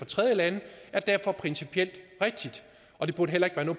tredjelande er derfor principielt rigtigt og det burde heller ikke